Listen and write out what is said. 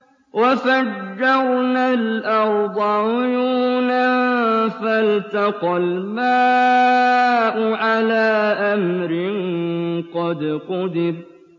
وَفَجَّرْنَا الْأَرْضَ عُيُونًا فَالْتَقَى الْمَاءُ عَلَىٰ أَمْرٍ قَدْ قُدِرَ